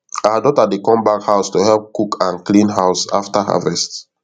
our daughter dey come back house to help cook and clean house after harvest